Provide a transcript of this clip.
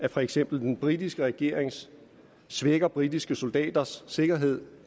for eksempel den britiske regering svækker britiske soldaters sikkerhed